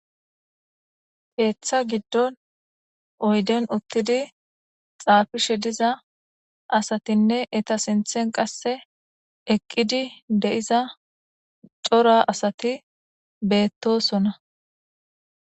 Eeththa giddon oyden uttidi xaafishe diza asatinne eta sinthen qasse eqqidi de'iza cora asati beettosona.